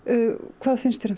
hvað finnst þér um